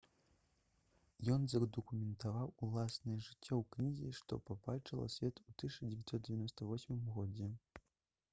ён задакументаваў уласнае жыццё ў кнізе што пабачыла свет у 1998 годзе